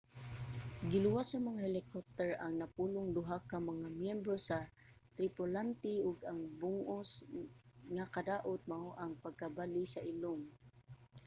giluwas sa mga helicopter ang napulog duha ka mga myembro sa tripulante ug ang bug-os nga kadaot mao ang pagkabali sa ilong